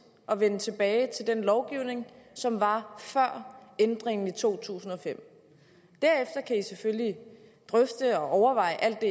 at vende tilbage til den lovgivning som var før ændringen i to tusind og fem derefter kan socialdemokraterne selvfølgelig drøfte og overveje alt det